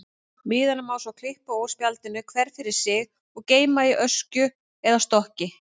Miðana má svo klippa úr spjaldinu, hvern fyrir sig, og geyma í öskju eða stokki.